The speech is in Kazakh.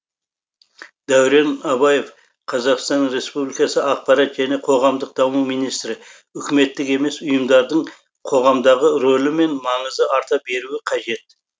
дәурен абаев қазақстан республикасы ақпарат және қоғамдық даму министрі үкіметтік емес ұйымдардың қоғамдағы ролі мен маңызы арта беруі қажет